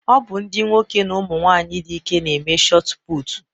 Ọ bụ ndị nwoke na ụmụ nwanyị dị ike na-eme shotu putu